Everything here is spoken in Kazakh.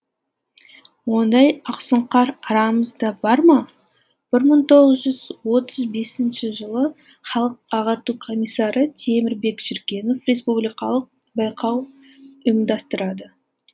ондай ақсұңқар арамызда бар ма бір мығ тоғыз жүз отыз бесінші жылы халық ағарту комиссары темірбек жүргенов республикалық байқау ұйымдастырады